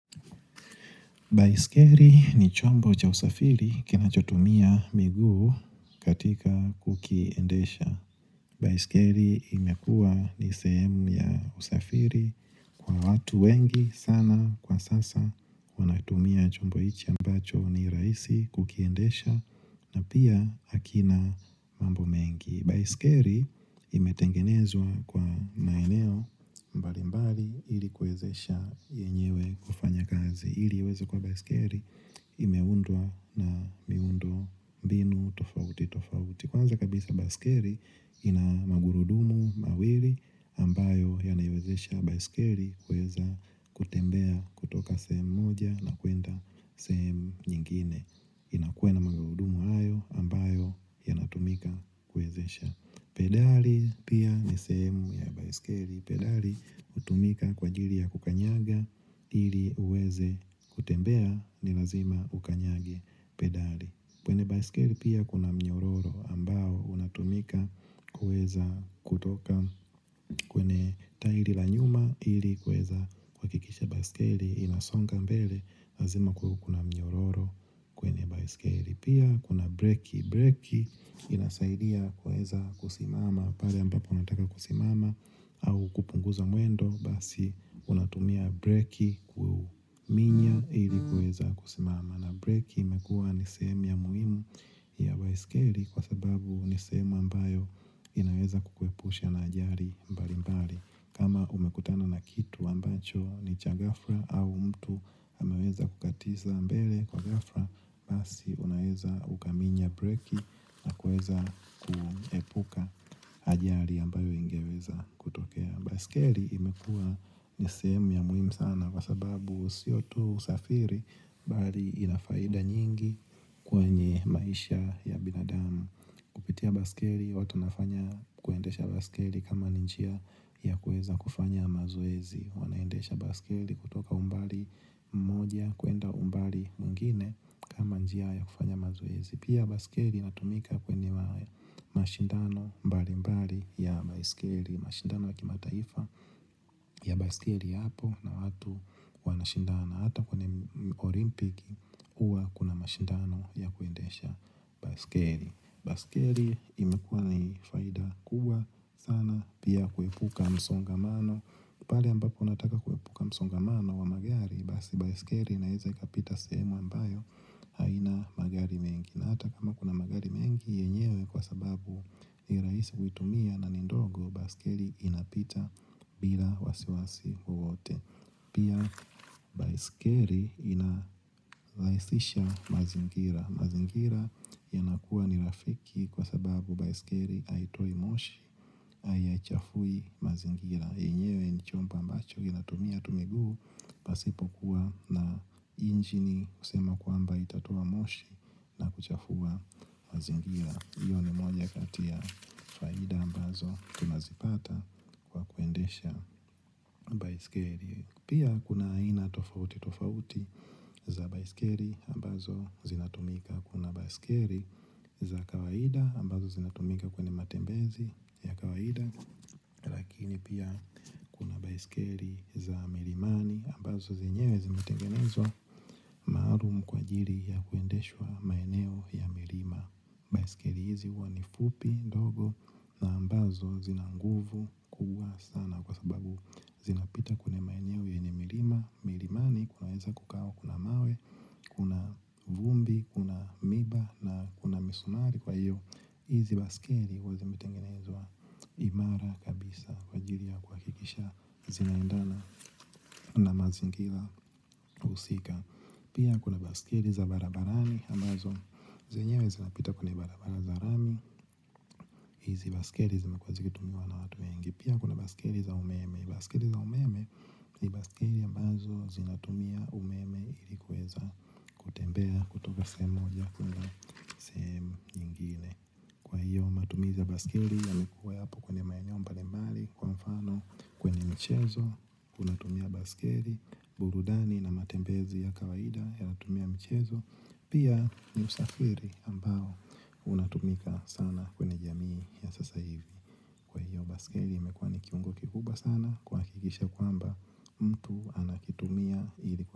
Baiskeli ni chombo cha usafiri kinachotumia miguu katika kukiendesha. Baiskeli imekua ni sehemu ya usafiri kwa watu wengi sana kwa sasa wanatumia chombo ichi ambacho ni rahisi kukiendesha na pia hakina mambo mengi. Baiskeri imetengenezwa kwa maeneo mbali mbali ili kuwezesha yenyewe kufanya kazi. Ili iweze kuwa baiskeli imeundwa na miundo mbinu tofauti tofauti. Kwanza kabisa baiskeli inamagurudumu mawili ambayo yanaywezesha baiskeri kuweza kutembea kutoka sehemu moja na kwenda sehemu nyingine. Inakuwea na magurudumu ayo ambayo yanatumika kuwezesha pedeli pia nisehemu ya baiskeli pedeli utumika kwa jili ya kukanyaga. Ili uweze kutembea ni lazima ukanyage pedali. Kwenye baiskeli pia kuna mnyororo ambao unatumika kuweza kutoka kwenye tairi lanyuma ili kuweza kuhakikisha baiskeli inasonga mbele, lazima kuwe kuna mnyororo kwenye baiskel. Pia kuna breki, breki inasaidia kuweza kusimama. Pale ambapo unataka kusimama au kupunguza mwendo. Basi unatumia breki kuminya ili kuweza kusimama. Na breki imekuwa nisehemi ya umuhimu ya baiskeli. Kwa sababu nisehemu ambayo inaweza kukuepusha na ajari mbali mbali. Kama umekutana na kitu ambacho ni cha ghafla au mtu ameweza kukatiza mbele kwa ghafla. Basi unaweza ukaminya breki na kuweza kuepuka ajari ambayo ingeweza kutokea. Baiskeli imekuwa nisehemu ya muhim sana kwa sababu siyotu usafiri. Bali inafaida nyingi kwenye maisha ya binadamu kupitia baiskeli watu wanafanya kuendesha baiskeli kama ninjia ya kuweza kufanya mazoezi. Wanaendesha baiskeli kutoka umbali mmoja kwenda umbali mwingine kama njia ya kufanya mazoezi. Pia baskeli inatumika kwenye mashindano mbali mbali ya baskeli. Mashindano yaki mataifa ya baskeli hapo na watu wanashindana hata kwenye olimpiki uwa kuna mashindano ya kuendesha baskeli. Baskeli imekuwa na faida kuwa sana pia kuepuka msongamano pale ambapo unataka kuepuka msongamano wa magari. Baskeri inaweza ikapita sehemu ambayo haina magari mengi. Na hata kama kuna magari mengi yenyewe kwa sababu ni rahisi kuitumia na nindogo. Baskeli inapita bila wasiwasi wowote. Pia baskeri ina rahisisha mazingira. Mazingira ya nakuwa ni rafiki kwa sababu baiskeri haitoi moshi. Haichafui mazingira yenyewe ni chomboa mbacho inatumia tu miguu. Pasipo kuwa na injini kusema kwamba itatoa moshi na kuchafua mazingira. Iyo ni mwenye kati ya faida ambazo tunazipata. Kuendesha baisikeri pia kuna aina tofauti tofauti za baiskeri ambazo zinatumika kuna baiskeri za kawaida ambazo zinatumika kwenye matembezi ya kawaida lakini pia baiskeri za milimani ambazo zenyewe zimitengenezwa maalum kwaajiri ya kuendeshwa maeneo ya milima baiskeri hizi huwa nifupi ndogo na ambazo zinanguvu kubwa sana kwa sababu zinapita kwenye maeneo yenye milima milimani kunaweza kukawa kuna mawe kuna vumbi kuna miba na kuna misumari kwa hiyo izi baskeli huwa zi zimetengenezwa imara kabisa kwajiri ya kuhakikisha zinaendana na mazingira husika. Pia kuna baskeli za barabarani ambazo zenyewe zinapita kwenye barabara za rami. Izi baskeli zimekuwa zikitumiwa na watu wengi. Pia kuna baskeli za umeme baskeli za umeme ni baskeli ambazo zinatumia umeme ilikuweza kutembea kutoka sehemu moja kuna kwahiyo matumizi ya baskeli yalikuwa yapo kwenye maeneo mbalimbali kwa mfano kwenye michezo. Unatumia baskeli, burudani na matembezi ya kawaida yanatumia mchezo. Pia ni usafiri ambao unatumika sana kwenye jamii ya sasa hivi. Baskeli ya imekuwa ni kiuongo kikubwa sana kuha kikisha kwamba mtu anakitumia ili kwa mba.